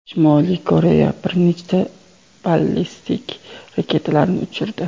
Shimoliy Koreya bir nechta ballistik raketalarni uchirdi.